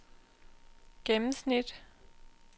gennemsnit